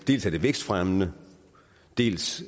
dels er det vækstfremmende dels